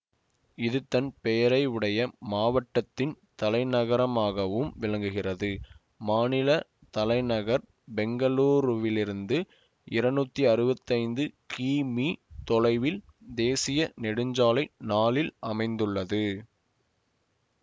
இது தன் பெயருடைய மாவட்டத்தின் தலைநகரமாகவும் விளங்குகிறது மாநில தலைநகர் பெங்களூருவிலிருந்து இருநூத்தி அறுபத்தைந்து கிலோ மீட்டர் தொலைவில் தேசிய நெடுஞ்சாலை நாலில் அமைந்துள்ளது